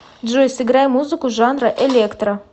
джой сыграй музыку жанра электро